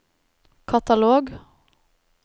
katalog